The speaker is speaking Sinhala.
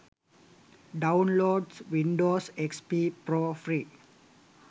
downloads windows xp pro free